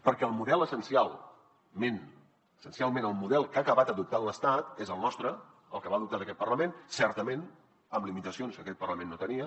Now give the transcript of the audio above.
perquè essencialment el model que ha acabat adoptant l’estat és el nostre el que va adoptar aquest parlament certament amb limitacions que aquest parlament no tenia